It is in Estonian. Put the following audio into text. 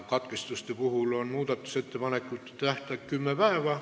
Katkestamise puhul on muudatusettepanekute esitamise tähtaeg kümme päeva.